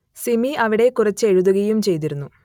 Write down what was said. സിമി അവിടെ കുറച്ചു എഴുതുകയും ചെയ്തിരുന്നു